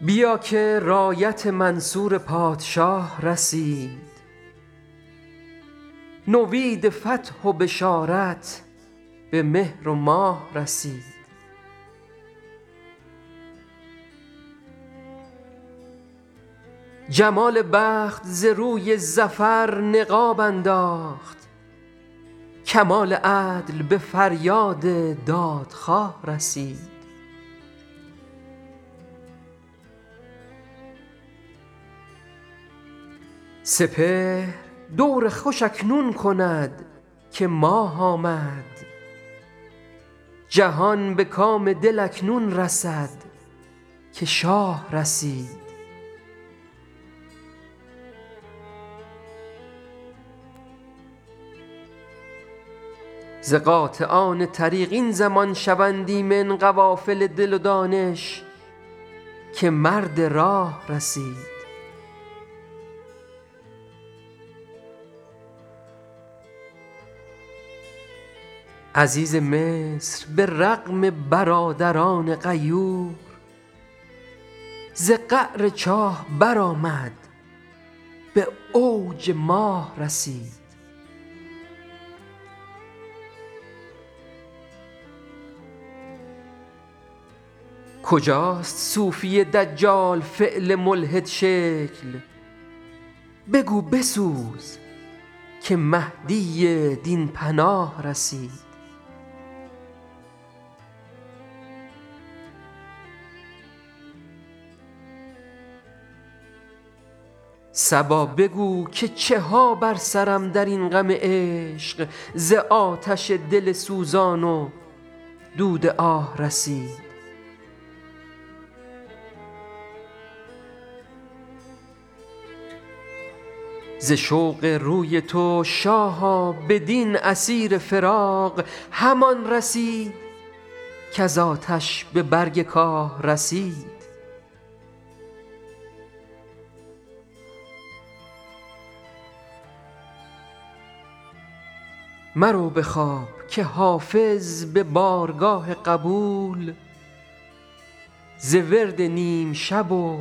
بیا که رایت منصور پادشاه رسید نوید فتح و بشارت به مهر و ماه رسید جمال بخت ز روی ظفر نقاب انداخت کمال عدل به فریاد دادخواه رسید سپهر دور خوش اکنون کند که ماه آمد جهان به کام دل اکنون رسد که شاه رسید ز قاطعان طریق این زمان شوند ایمن قوافل دل و دانش که مرد راه رسید عزیز مصر به رغم برادران غیور ز قعر چاه برآمد به اوج ماه رسید کجاست صوفی دجال فعل ملحدشکل بگو بسوز که مهدی دین پناه رسید صبا بگو که چه ها بر سرم در این غم عشق ز آتش دل سوزان و دود آه رسید ز شوق روی تو شاها بدین اسیر فراق همان رسید کز آتش به برگ کاه رسید مرو به خواب که حافظ به بارگاه قبول ز ورد نیم شب و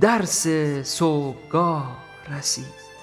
درس صبحگاه رسید